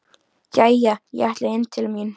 Jæja, ég ætla inn til mín.